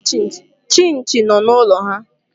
Chinchi nọ n'ụlọ ha.